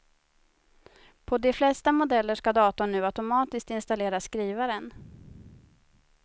På de flesta modeller ska datorn nu automatiskt installera skrivaren.